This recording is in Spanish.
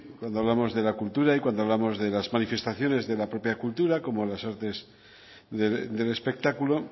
cuando hablamos de la cultura y cuando hablamos de las manifestaciones de la propia cultura como las artes del espectáculo